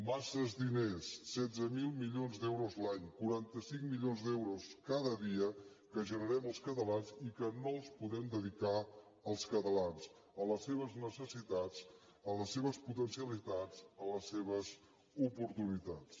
massa diners setze mil milions d’euros l’any quaranta cinc milions d’euros cada dia que generem els catalans i que no els podem dedicar als catalans a les seves necessitats a les seves potencialitats a les seves oportunitats